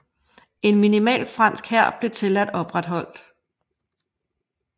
En minimal fransk hær blev tilladt opretholdt